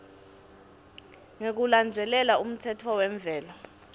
ngekulandzela umtsetfo wemvelo